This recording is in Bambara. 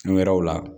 Fɛn wɛrɛw la